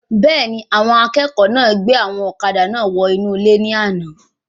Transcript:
Bẹ́ẹ̀ni, àwọn akẹ́kọ̀ọ́ náà gbé àwọn ọ̀kadà náà wọ inú ilé ní àna